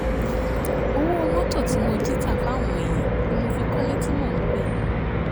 ọwọ́ mọ́tò tí mo jí tà fáwọn èèyàn ni mo fi kọ́lé tí mò ń gbé